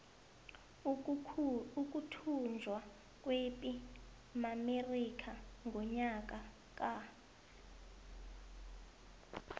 ukuthunjwa kwepi maamerika ngonyaka ka